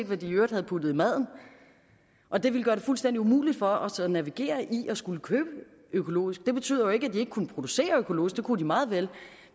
hvad de i øvrigt havde puttet i maden og det ville gøre det fuldstændig umuligt for os at navigere i at skulle købe økologisk det betyder jo ikke at de ikke kunne producere økologisk det kunne de meget vel